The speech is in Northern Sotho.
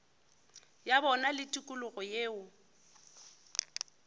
ya bona le tikologo yeo